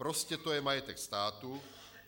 Prostě to je majetek státu.